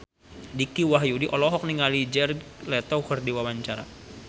Dicky Wahyudi olohok ningali Jared Leto keur diwawancara